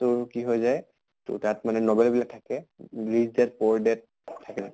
তোৰ কি হৈ যায় তোৰ তাত মানে novel বিলাক থাকে rich dad poor dad থাকে নে